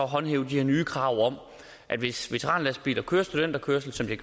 håndhæve de her nye krav om at hvis veteranlastbiler kører studenterkørsel som de